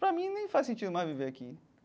Pra mim nem faz sentido mais viver aqui.